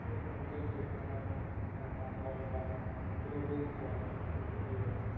খেয়ে মানুষের শরীর খারাপ হ্যাঁ বা বল বা কোন রোগ বল এগুলো হয়ে যাচ্ছে।